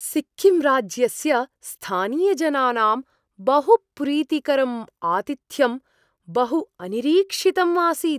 सिक्किम् राज्यस्य स्थानीयजनानां बहुप्रीतिकरम् आतिथ्यम् बहु अनिरीक्षितम् आसीत्।